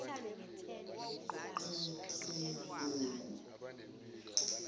ikileku